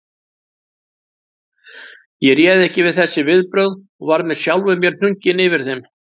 Ég réð ekki við þessi viðbrögð og var með sjálfum mér hnugginn yfir þeim.